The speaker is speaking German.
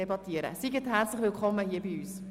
Seien Sie herzlich willkommen bei uns!